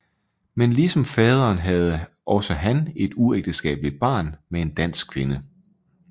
Men ligesom faderen havde også han et uægteskabeligt barn med en dansk kvinde